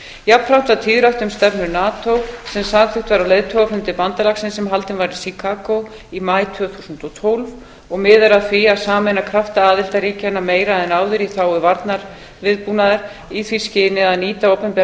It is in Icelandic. jafnframt var tíðrætt um stefnu nato sem samþykkt var á leiðtogafundi bandalagsins sem haldinn var í chicago í maí tvö þúsund og tólf og miðar að því að sameina krafta aðildarríkjanna meira en áður í þágu varnarviðbúnaðar í því skyni að nýta opinbera